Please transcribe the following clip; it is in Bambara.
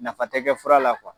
Nafa tɛ kɛ fura la kuwa.